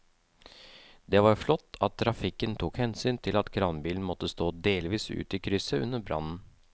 Det var flott at trafikken tok hensyn til at kranbilen måtte stå delvis ute i krysset under brannen.